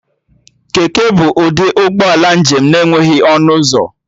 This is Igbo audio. Keke bụ ụdị ụgbọala njem na-enweghị ọnụ ụzọ